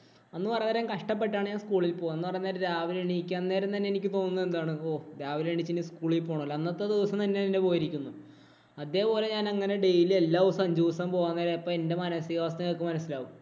അന്ന് പറയാൻ നേരം കഷ്ടപ്പെട്ട് ആണ് ഞാന്‍ സ്കൂളില്‍ പോകുക. എന്നു പറയാൻ നേരം രാവിലെ എണ്ണീക്കാന്‍ നേരം തന്നെ എനിക്ക് തോന്നുന്നത് എന്താണ്? ഓ, രാവിലെ എണ്ണീച്ചു ഇനി സ്കൂളില്‍ പോണോല്ലോ. അന്നത്തെ ദിവസം തന്നെ എന്‍റെ പോയിരിക്കുന്നു. അതെ പോലെ ഞാന്‍ അങ്ങനെ daily എല്ലാ ദിവസവും അഞ്ചു ദിവസം പോവാന്‍ നേരം അപ്പൊ എന്‍റെ മാനസികാവസ്ഥ നിങ്ങക്ക് മനസിലാവും.